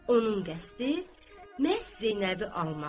Onun qəsdi məhz Zeynəbi almaqdır.